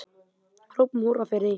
Hrópum húrra fyrir því.